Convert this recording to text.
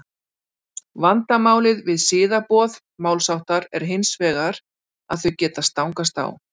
Vandamálið við siðaboð málshátta er hins vegar að þau geta stangast á.